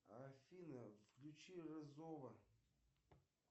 афина включи рызова